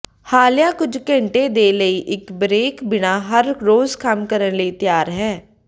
ਹਾਲੀਆ ਕੁਝ ਘੰਟੇ ਦੇ ਲਈ ਇੱਕ ਬਰੇਕ ਬਿਨਾ ਹਰ ਰੋਜ਼ ਕੰਮ ਕਰਨ ਲਈ ਤਿਆਰ ਹੈ